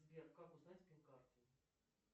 сбер как узнать пин карты